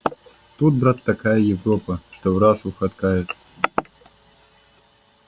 тут брат такая европа что враз ухайдакают